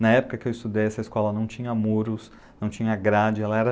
Na época que eu estudei, essa escola não tinha muros, não tinha grade, ela era